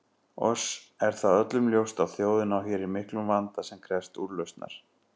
Oss er það öllum ljóst að þjóðin á hér í miklum vanda sem krefst úrlausnar.